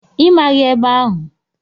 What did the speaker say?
Ị maghị ebe ahụ?